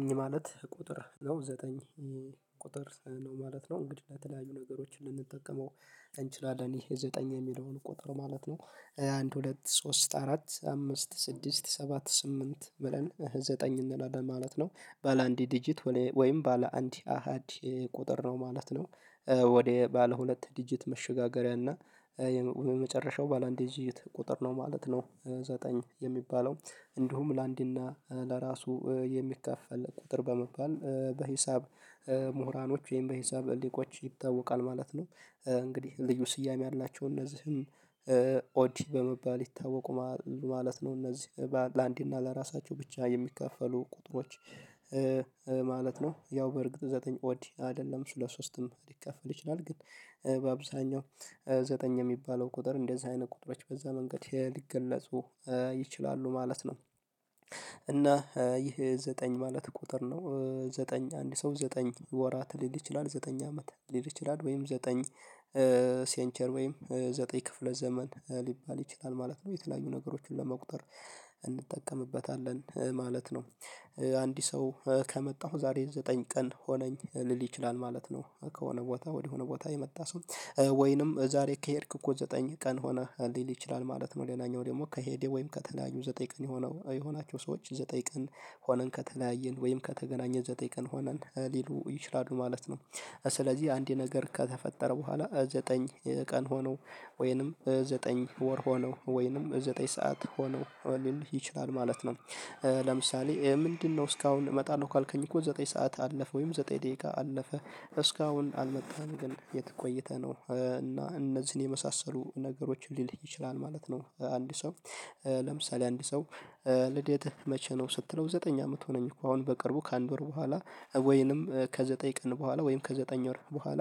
እኛ ማለት ቁጥር ነው ዘጠኝ ቁጥር ነው ማለት ነው ለተለያዩ ነገሮች ልንጠቀም እንችላለን ይሄ ዘጠኝ የሚለውን ቁጥር ማለት ነው። አንድ ሁለት ሶስት አራት አምስት ስድስት ሰባት ስምንት ብለን ዘጠኝ እንላለን ማለት ነው ባለአንድ ዲጂት ወይም ባለ አንድ አሃድ ቁጥር ነው ማለት ነው። ወደ ባለ ሁለት ዲጂት መሸጋገሪያ እና የመጨረሻው ባለ አንድ የዚች ቁጥር ነው ማለት ነው። ዘጠኝ የሚባለው እንዲሁም ለአንዲና ለራሱ የሚከፈል ቁጥር በመባል በሂሳብ ምሁራኖች ወይም በሂሳብ ሊቆች ይታወቃል ማለት ነው። እንግዲህ ልዩ ስያሜ ያላቸው እነዚህም ኦድ በመባል ይታወዋሉ ማለት ነው። እነዚህ ለአንድ እና ለራሳቸው ብቻ የሚከፈሉ ቁጥሮች ማለት ነው ያው በእርግጥ ዘጠኝ ወዲህ አይደለም ስለ ሶስትም ሊከፈል ይችላል ግን በአብዛኛው ዘጠኝ የሚባለው ቁጥር እንደዚህ አይነት ቁጥሮች በዛ መንገድ ሊገለጹ ይችላሉ ማለት ነው። እና ይህ ዘጠኝ ማለት ቁጥር ነው ዘጠኝ አንድ ሰው ዘጠኝ ወራት ሊል ይችላል ዘጠኝ አመት ሊል ይችላል ወይም ዘጠኝ ሴንቸር ወይም ዘጠኝ ክፍለ ዘመን ሊባል ይችላል ማለት ነው የተለያዩ ነገሮችን ለመቁጠር እንጠቀምበታለን ማለት ነው። አንዲት ሰው ከመጣሁ ዛሬ ዘጠኝ ቀን ሆነኝ እልል ይችላል ማለት ነው። ከሆነ ቦታ ወዲህ ሆነ ቦታ የመጣ ሰው ወይንም ዛሬ ከሄድክ እኮ ዘጠኝ ቀን ሆነህ ሊል ይችላል ነው ለናኛው ደግሞ ከሄዴ ወይም ከተለያዩ ዘጠኝ ቀን የሆነው የሆናቸው ሰዎች ዘጠኝ ቀን ሆነን ከተለያየን ወይም ከተገናኘ ዘጠኝ ቀን ሆነን ሊሉ ይችላሉ ማለት ነው። ስለዚህ አንዴ ነገር ከተፈጠረ በኋላ ዘጠኝ ቀን ሆነው ወይንም ዘጠኝ ወር ሆነው ወይንም ዘጠኝ ሰዓት ሆነው ሊልህ ይችላል ማለት ነው። ለምሳሌ ምንድነው እስካሁን እመጣለሁ ካልከኝ እኮ ዘጠኝ ሰዓት አለፈ ወይም ዘጠኝ ደቂቃ አለፈ እስካሁን አልመጣንም ግን የት ቆይተህ ነው? እና እነዚህን የመሳሰሉ ነገሮችን ሊልክ ይችላል ማለት ነው። አንድ ሰው ለምሳሌ አንድ ሰው ልደትህ መቼ ነው ስትለው ዘጠኝ አመት ሆነኝ እኮ አሁን በቅርቡ ከአንድ ወር በኋላ ወይንም ከዘጠኝ ቀን በኋላ ወይም ከዘጠኝ ወር በኋላ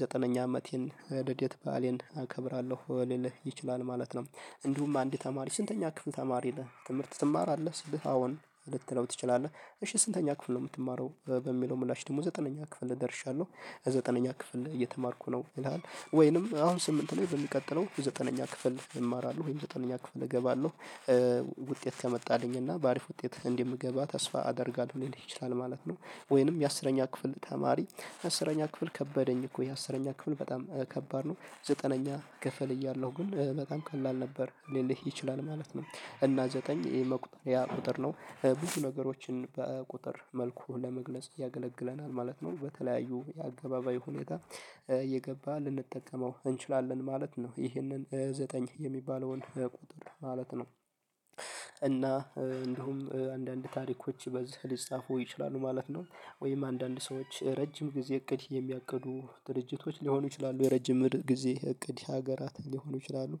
ዘጠነኛ አመቴን ልደት በዓሌን አከብራለሁ ሊልህ ይችላል ማለት ነው። እንዲሁም አንድ ተማሪ ስንተኛ ክፍል ተማሪ ነህ ትምህርት ትማራለህ ስብህ አዎን ልትለው ትችላለህ እሺ ስንተኛ ክፍል ነው? የምትማረው በሚለው ምላሽ ደግሞ ዘጠነኛ ክፍል ደርሻለሁ ዘጠነኛ ክፍል እየተማርኩ ነው ይላል። ወይንም አሁን ስምንት ነው በሚቀጥለው ዘጠነኛ ክፍል እማራለው ወይም ዘጠነኛ ክፍል እገባለሁ ውጤት ከመጣልኝ እና በአሪፍ ውጤት እንደምገባ ተስፋ አደርጋለሁ ሊል ይችላል ማለት ነው። ወይንም የአስረኛ ክፍል ተማሪ አስረኛ ክፍል ከበደኝ እኮ የአስረኛ ክፍል በጣም ከባድ ነው። ዘጠነኛ ክፍል እያለሁ ግን በጣም ቀላል ነበር ሊልህ ይችላል ማለት ነው። እና ዘጠኝ የመቁጠሪያ ቁጥር ነው ብዙ ነገሮችን በቁጥር መልኩ ለመግለጽ ያገለግለናል ማለት ነው። በተለያዩ የአገባበይ ሁኔታ የገባ ልንጠቀመው እንችላለን ማለት ነው ይህንን ዘጠኝ የሚባለውን ቁጥር ማለት ነው። እና እንዲሁም አንዳንድ ታሪኮች በዚህ ሊጻፉ ይችላሉ ማለት ነው። ወይም አንዳንድ ሰዎች ረጅም ጊዜ እቅድ የሚያቅዱ ድርጅቶች ሊሆኑ ይችላሉ የረጅም ምርጥ ጊዜ እቅድ ሀገራት ሊሆኑ ይችላሉ።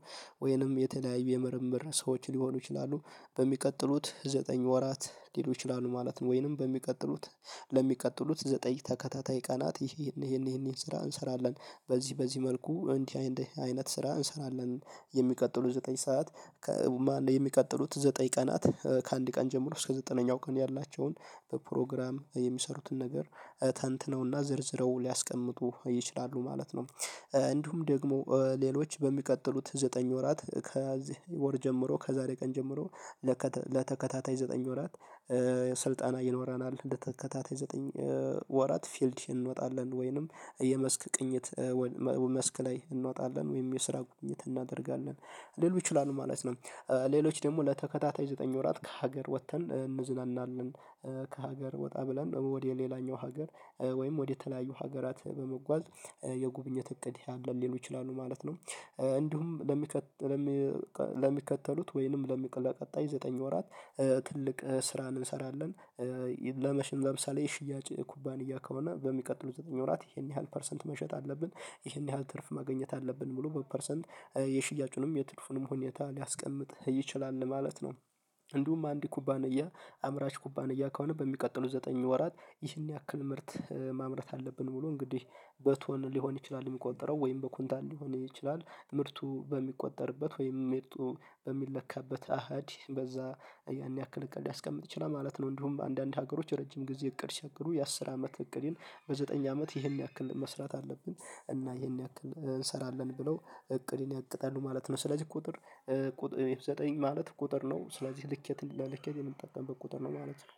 ወይንም የተለያዩ የምርምር ሰዎች ሊሆኑ ይችላሉ። በሚቀጥሉት ዘጠኝ ወራት ሊሉ ይችላሉ ማለት ነው። ወይንም በሚቀጥሉት ለሚቀጥሉት ዘጠኝ ተከታታይ ቀናት ይሄን ይሄን ይሄን ስራ እንሰራለን በዚህ በዚህ መልኩ እንዲህ አይነት ስራ እንሰራለን። የሚቀጥሉ ዘጠኝ ሰዓት የሚቀጥሉት ዘጠኝ ቀናት ከአንድ ቀን ጀምሮ እስከ ዘጠነኛው ቀን ያላቸውን በፕሮግራም የሚሰሩትን ነገር ተንትነውና ዝርዝረው ሊያስቀምጡ ይችላሉ ማለት ነው። እንዲሁም ደግሞ ሌሎች በሚቀጥሉት ዘጠኝ ወራት ከዚህ ወር ጀምሮ ከዛሬ ቀን ጀምሮ ለተከታታይ ዘጠኝ ወራት ስልጣን ይኖረናል እንደተከታተይ ዘጠኝ ወራት ፊልድ እንወጣለን ወይንም የመስክ ቅኝት መስክ ላይ እንወጣለን ወይም የስራ ጉብኝት እናደርጋለን ሊሉ ይችላሉ ማለት ነው። ሌሎች ደግሞ ለተከታታይ ዘጠኝ ወራት ከሀገር ወጥተን እንዝናናለን። ከሀገር ወጣ ብለን ወደ ሌላኛው ሀገር ወይም ወደ ተለያዩ ሀገራት በመጓዝ የጉብኝት እቅድ ያለን ሊሉ ይችላሉ ማለት ነው። እንዲሁም ለሚከተሉት ወይንም ለቀጣይ ዘጠኝ ወራት ትልቅ ስራን እንሰራለን። ለመሽጥ ለምሳሌ ሽያጭ ኩባንያ ከሆነ በሚቀጥሉት ዘጠኝ ወራት ይሄን ያህል ፐርሰንት መሸጥ አለብን ይሄን ያህል ትርፍ ማግኘት አለብን ሙሉ በፐርሰንት የሽያጩንም የትርፉንም ሁኔታ ሊያስቀምጥህ ይችላል ለማለት ነው። እንዲሁም አንድ ኩባንያ አምራች ኩባንያ ከሆነ በሚቀጥሉት ዘጠኝ ወራት ይህን ያክል ምርት ማምረት አለብን ሙሉ እንግዲህ በቶን ሊሆን ይችላል የሚቆጠረው ወይም በኩንታን ሊሆን ይችላል ምርቱ በሚቆጠርበት ወይም ምርቱ በሚለካበት አሃድ በዛ ያን ያክል እቅድ ያስቀምጥ ይችላል ማለት ነው። እንዲሁም አንዳንድ ሀገሮች ረጅም ጊዜ እቅድ ቸግሩ የአስር አመት እቅዴን በዘጠኝ አመት ይሄን ያክል መስራት አለብን። እና ይሄን ያክል እንሰራለን ብለው እቅድን ያቅጣሉ ማለት ነው። ስለዚህ ቁጥር ዘጠኝ ማለት ቁጥር ነው ስለዚህ ልኬትን ለልኬት የምንጠቀምበት ቁጥር ነው ማለት ነው